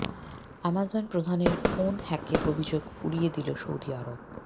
Amazon প্রধানের phone হ্যাকের অভিযোগ উড়িয়ে দিল সৌদি আরব